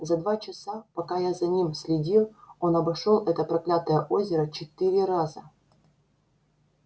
за два часа пока я за ним следил он обошёл это проклятое озеро четыре раза